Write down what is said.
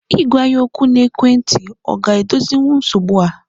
Ị gwa ya okwu n'ekwentị a ga edozinwu nsogbu a?